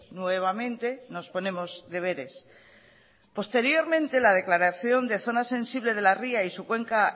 nuevamente nos ponemos deberes posteriormente la declaración de zona sensible de la ría y su cuenca